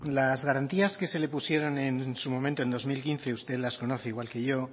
las garantías que se le pusieron en su momento en dos mil quince usted las conoce igual que yo